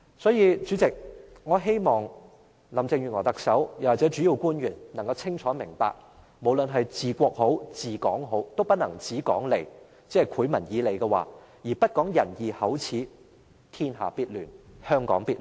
所以，代理主席，我希望特首林鄭月娥或主要官員能夠清楚明白，無論是治國和治港均不能只說利，即只"賄民以利"，而不講仁義口齒，天下必亂，香港必亂。